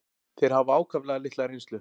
Þeir hafa ákaflega litla reynslu.